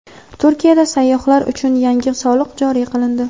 Turkiyada sayyohlar uchun yangi soliq joriy qilindi.